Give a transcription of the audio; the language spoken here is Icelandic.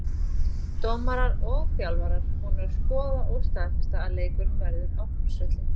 Dómarar og þjálfarar búnir að skoða og staðfesta að leikurinn verður á Þórsvelli.